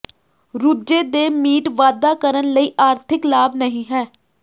ਰੁਝੇ ਦੇ ਮੀਟ ਵਾਧਾ ਕਰਨ ਲਈ ਆਰਥਿਕ ਲਾਭ ਨਹੀ ਹੈ